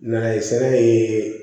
Na ye sɛnɛ ye